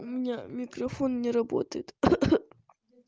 у меня микрофон не работает